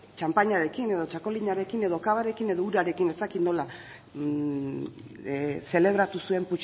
txanpainarekin edo txakolinarekin edo kabarekin edo urarekin ez dakit nola zelebratu zuen